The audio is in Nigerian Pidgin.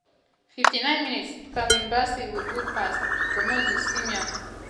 59mins- calvin bassey wit good pass to moses simon trying to find way into rwanda net.